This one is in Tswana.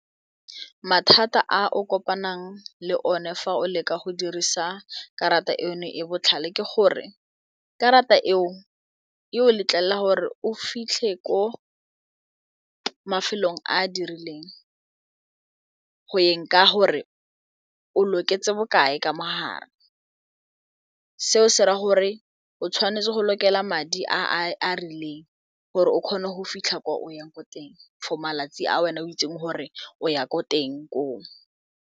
Mathata a o kopanang le one fa o leka go dirisa karata eno e botlhale ke gore karata eo e o letlelela gore o fitlhe ko mafelong a a dirileng go yeng ka gore o loketseng bokae ka mogare seo se ra gore o tshwanetse go lokela madi a a rileng gore o kgone go fitlha kwa o yang ko teng for malatsi a wena o itseng gore o ya ko teng koo.